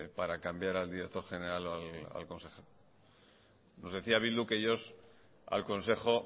para cambiar al director general o al consejo nos decía bildu que ellos al consejo